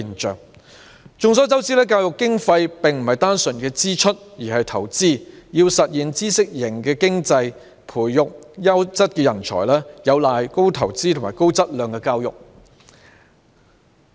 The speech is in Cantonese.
眾所周知，教育經費不是單純的支出而是投資，要實現知識型經濟、培育優質人才，有賴高投資和高質量的教育。